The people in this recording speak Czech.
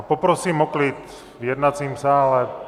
A poprosím o klid v jednacím sále.